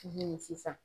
Sisan